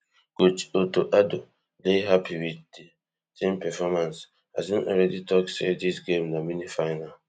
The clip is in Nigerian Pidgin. coach otto addo dey happy wit di team performance as im already tok say dis game na mini final